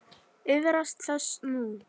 Iðrast þess nú.